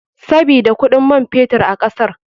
Sabida kuɗin man fetur a kasar.